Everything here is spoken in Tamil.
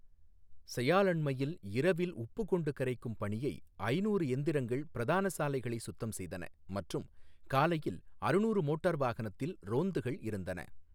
செயாலண்மையில் இரவில் உப்பு கொண்டு கரைக்கும் பணியை ஐநூறு எந்திரங்கள் பிரதான சாலைகளை சுத்தம் செய்தன மற்றும் காலையில் அறுநூறு மோட்டார் வாகனத்தில் ரோந்துகள் இருந்தன.